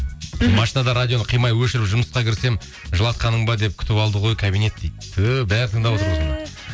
мхм машинада радионы қимай өшіріп жұмысқа кірсем жылатқаның ба деп күтіп алды ғой кабинет дейді түһ бәрі тыңдап